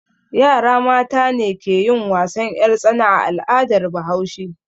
Yara mata ne ke yin wasan 'yartsana a al'adar Bahaushe.